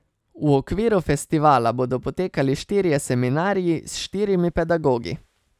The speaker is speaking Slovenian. V okviru festivala bodo potekali štirje seminarji, s štirimi pedagogi.